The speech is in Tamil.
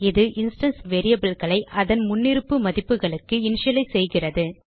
இது இன்ஸ்டான்ஸ் variableகளை அதன் முன்னிருப்பு மதிப்புகளுக்கு இனிஷியலைஸ் செய்கிறது